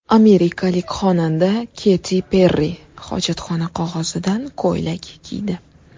Amerikalik xonanda Keti Perri hojatxona qog‘ozidan ko‘ylak kiydi.